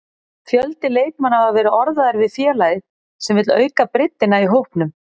Fjöldi leikmanna hafa verið orðaðir við félagið sem vill auka breiddina í hópnum.